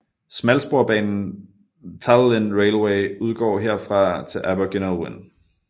Smalsporsbanen Talyllyn Railway udgår herfra til Abergynolwyn